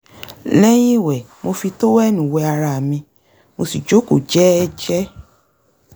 lẹ́yìn ìwẹ̀ mo fi tówẹ́ẹ̀nù wé ara mi mo sì jókòó jẹ́ẹ́jẹ́